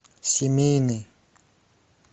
семейный